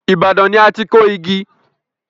Ibadan ni a ti kọ igi.